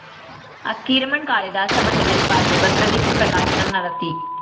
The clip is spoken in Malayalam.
അക്കീരമണ്‍ കാളിദാസ ഭട്ടതിരിപ്പാട് ഭദ്രദീപ പ്രകാശനം നടത്തി